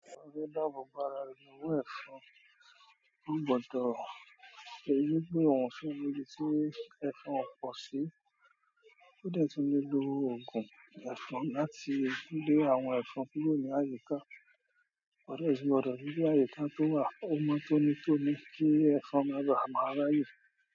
Ọ̀rẹ́ dáàbò bo ára re ni owó ẹ̀fan. Ó gbọ́dọ̀ ríi wí pé òun o sì ni ibi tí ẹ̀fan kò pọ̀ sí. Ó dẹ̀ tun le lo òògùn ẹ̀fan láti lé àwọn ẹ̀fan kúrò ní àyíká. Wàá dẹ si gbọdọ̀ ri bóyá ẹ̀fọn tún wà, o mọn tónítóní, kí ẹ̀fọn má baà máa ráyè.